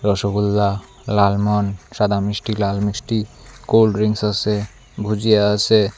রসগোল্লা লালমোহন সাদা মিষ্টি লাল মিষ্টি কোল্ড ড্রিংকস আসে ভূজিয়া আসে।